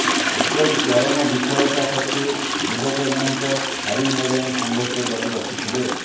ଏପରି ଚରମ ବିଫଳତା ସତ୍ତ୍ୱେ ଯୁବକ ଜଣଙ୍କ ହାରି ନ ଯାଇ ସଂଘର୍ଷ ଜାରି ରଖିଥିଲେ